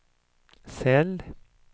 cell